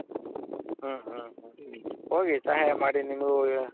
ಹ್ಮ್.ಹೋಗಿ ಸಹಾಯ ಮಾಡಿ ನಿಮಗೂ